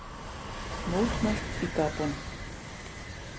Mótmælt í Gabon